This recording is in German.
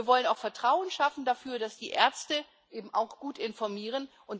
Wir wollen auch Vertrauen schaffen dafür, dass die Ärzte eben auch gut informieren.